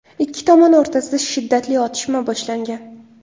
Ikki tomon o‘rtasida shiddatli otishma boshlangan.